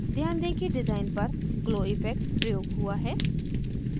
ध्यान दें कि डिज़ाइन पर glow इफ़ेक्ट प्रयोग हुआ है